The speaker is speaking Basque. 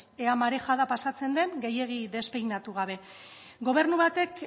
ea marejada pasatzen den gehiegi despeinatu gabe gobernu batek